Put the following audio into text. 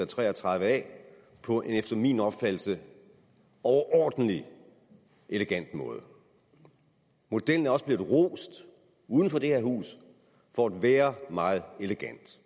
tre og tredive a på en efter min opfattelse overordentlig elegant måde modellen er også blevet rost uden for det her hus for at være meget elegant